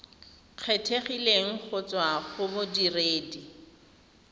kgethegileng go tswa go bodiredi